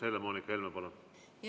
Helle-Moonika Helme, palun!